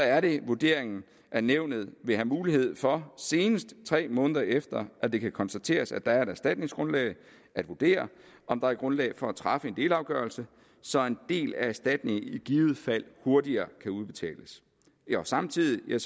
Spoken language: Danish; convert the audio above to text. er det vurderingen at nævnet vil have mulighed for senest tre måneder efter at det kan konstateres at der er et erstatningsgrundlag at vurdere om der er grundlag for at træffe en delafgørelse så en del af erstatningen i givet fald hurtigere kan udbetales samtidig er